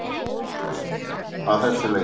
Ekkert hefði breyst að þessu leyti